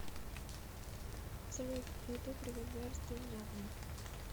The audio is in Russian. салют ютуб револьверс ты у меня одна